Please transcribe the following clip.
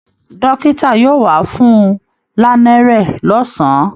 Dọ́ọ́kítà yóò wá fún-un lánẹ́rẹ́ lọ́sàn-án